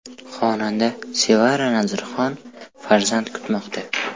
Xonanda Sevara Nazarxon farzand kutmoqda.